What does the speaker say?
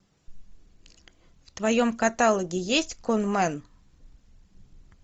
в твоем каталоге есть конмэн